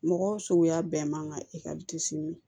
Mɔgɔ suguya bɛɛ man ka